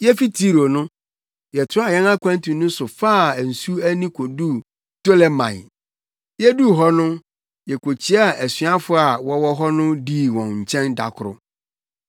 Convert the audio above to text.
Yefi Tiro no, yɛtoaa yɛn akwantu no so faa nsu ani koduu Ptolemai. Yeduu hɔ no yekokyiaa asuafo a wɔwɔ hɔ no dii wɔn nkyɛn da koro.